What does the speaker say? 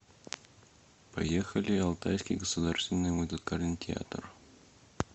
поехали алтайский государственный музыкальный театр